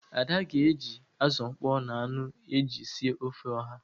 Ada ga-eji azụ ọkpọọ na anụ ezi sie ofe oha.